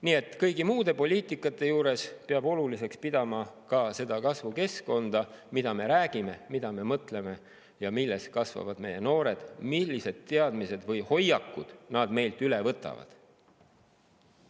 Nii et kõigi muude poliitikasuundade juures peab oluliseks pidama ka seda kasvukeskkonda – mida me räägime, mida me mõtleme –, kus kasvavad meie noored ja millised teadmised või hoiakud nad meilt üle võtavad.